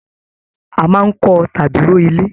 A máa n kọ tàbí rọ̀ ilé.